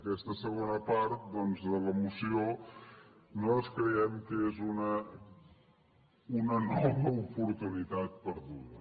aquesta segona part doncs de la moció nosaltres creiem que és una nova oportunitat perduda